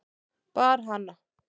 Bar hana